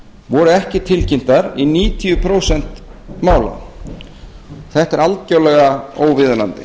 voru ekki tilkynntar í níutíu prósent mála þetta er algjörlega óviðunandi